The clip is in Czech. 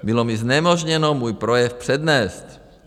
Bylo mi znemožněno můj projev přednést.